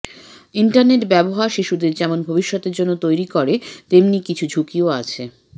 internet ব্যবহার শিশুদের যেমন ভবিষ্যতের জন্য তৈরি করে তেমনি কিছু ঝুঁকিও আছে